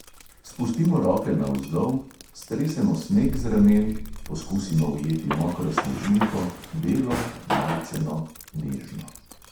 Spustimo roke navzdol, stresemo sneg z ramen, poskusimo ujeti mokro snežinko, belo, majceno, nežno ...